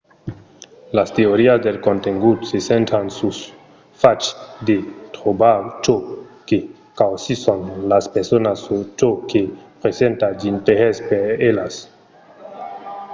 las teorias del contengut se centran sul fach de trobar çò que causisson las personas o çò que presenta d'interès per elas